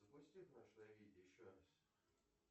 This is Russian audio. запусти прошлое видео еще раз